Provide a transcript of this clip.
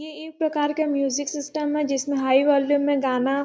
यह एक प्रकार का मियुजिक सिस्टम है जिसमें हाई वाल्युम में गाना --